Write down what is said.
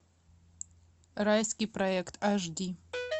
райский проект аш ди